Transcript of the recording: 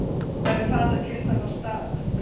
Hvar er fatakistan hans Daða?